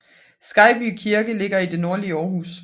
Skejby Kirke ligger i det nordlige Aarhus